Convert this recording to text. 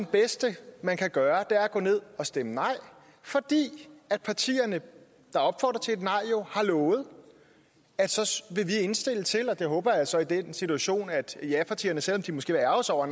bedste man kan gøre at gå ned og stemme nej for partierne der opfordrer til et nej har lovet at så vil vi indstille til og det håber jeg så i den situation at japartierne selv om de måske vil ærgre sig over